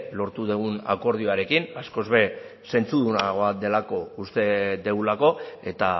lortu dugun akordioarekin askoz ere zentzudunagoa delako uste dugulako eta